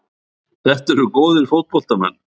Þetta eru góðir fótboltamenn.